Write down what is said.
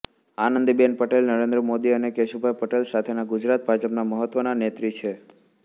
આનંદીબેન પટેલ નરેન્દ્ર મોદી અને કેશુભાઈ પટેલ સાથેનાં ગુજરાત ભાજપનાં મહત્વનાં નેત્રી છે